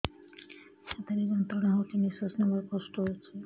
ଛାତି ରେ ଯନ୍ତ୍ରଣା ହଉଛି ନିଶ୍ୱାସ ନେବାରେ କଷ୍ଟ ହଉଛି